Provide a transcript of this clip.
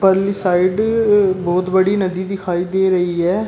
अगली साइड बहुत बड़ी नदी दिखाई दे रही है।